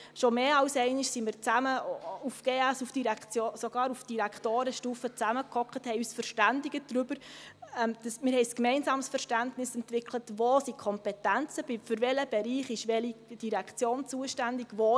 Schon mehr als einmal sind wir auf Generalsekretariats(GS)- und sogar auf Direktorenstufe zusammengesessen, haben uns darüber verständigt, haben ein gemeinsames Verständnis dafür entwickelt, wo die Kompetenzen liegen und für welchen Bereich welche Direktion zuständig ist.